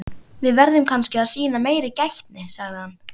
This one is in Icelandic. Við verðum kannski að sýna meiri gætni sagði hann.